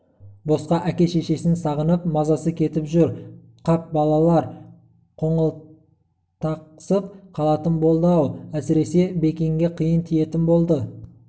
босқа әке-шешесін сағынып мазасы кетіп жүр қап балалар қоңылтақсып қалатын болды-ау әсіресе бекенге қиын тиетін болды